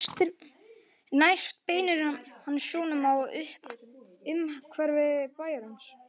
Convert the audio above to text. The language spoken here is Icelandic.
Næst beinir hann sjónum að umhverfi bæjarins.